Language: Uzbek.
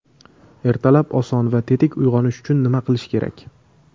Ertalab oson va tetik uyg‘onish uchun nima qilish kerak?.